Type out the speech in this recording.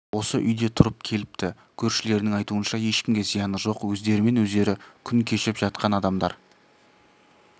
осы үйде тұрып келіпті көршілерінің айтуынша ешкімге зияны жоқ өздерімен өздері күн кешіп жатқан адамдар